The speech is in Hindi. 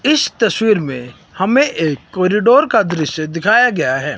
इस तस्वीर में हमे एक कॉरिडोर का दृश्य दिखाया गया है।